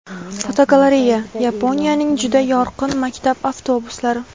Fotogalereya: Yaponiyaning juda yorqin maktab avtobuslari.